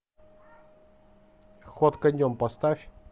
ход конем поставь